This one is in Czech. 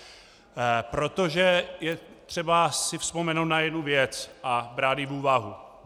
Protože je třeba si vzpomenout na jednu věc a brát ji v úvahu.